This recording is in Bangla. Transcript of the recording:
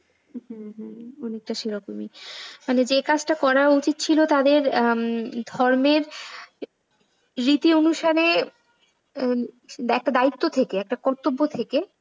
হম হম অনেকটা সেরকমই, মানে যে কাজটা করা উচিত ছিল তাদের ধর্মের রীতি অনুসারে একটা দায়িত্ব থেকে একটা কর্তব্য থেকে।